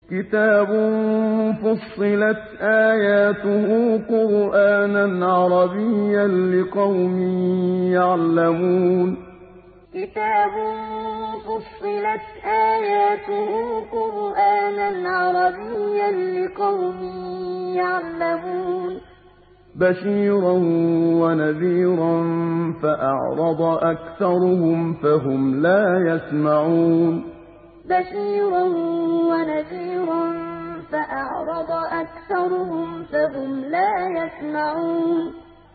كِتَابٌ فُصِّلَتْ آيَاتُهُ قُرْآنًا عَرَبِيًّا لِّقَوْمٍ يَعْلَمُونَ كِتَابٌ فُصِّلَتْ آيَاتُهُ قُرْآنًا عَرَبِيًّا لِّقَوْمٍ يَعْلَمُونَ